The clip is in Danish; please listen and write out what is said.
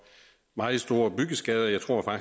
meget store byggeskader jeg tror